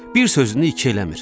Bir sözünü iki eləmir.